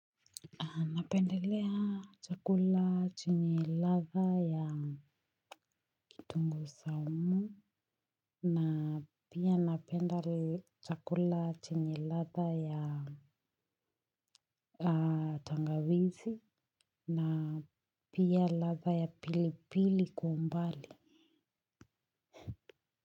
Napendelea chakula chenye ladhaa ya kitunguu saumu na pia napenda chakula chenye ladhaa ya tangawizi na pia ladha ya pilipili kwa umbali.